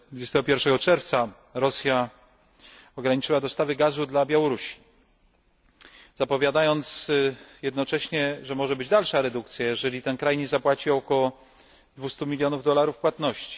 21 czerwca Rosja ograniczyła dostawy gazu dla Białorusi, zapowiadając jednocześnie, że może być dalsza redukcja, jeżeli ten kraj nie zapłaci około 200 milionów dolarów płatności.